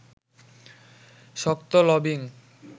শক্ত লবিং